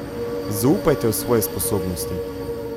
Zaupajte v svoje sposobnosti.